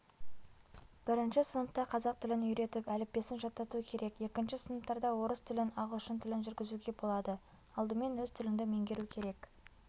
бірінші сыныпта қазақ тілін үйретіп әліппесін жаттату керек екінші сыныптарда орыс тілін ағылшын тілін жүргізуге болады алдымен өз тіліңді меңгеру керек